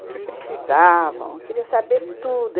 O que precisavam, queria saber tudo.